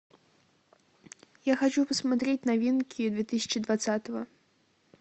я хочу посмотреть новинки две тысячи двадцатого